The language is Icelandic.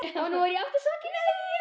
Og nú er ég aftur sokkinn í það.